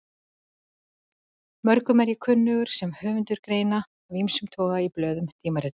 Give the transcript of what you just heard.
Mörgum er ég kunnur sem höfundur greina af ýmsum toga í blöðum og tímaritum.